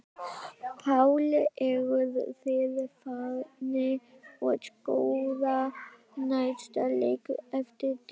Páll: Eruð þið farnir að skoða næsta leik eftir dælingu?